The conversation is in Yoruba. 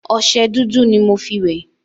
ọṣẹ dúdú ni mo fí wẹ̀